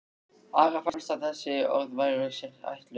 Ara fannst að þessi orð væru sér ætluð.